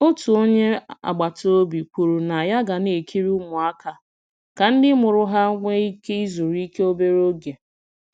Otu onye agbata obi kwuru na ya ga na-ekiri ụmụaka ka ndị mụrụ ha nwee ike zuru ike obere oge.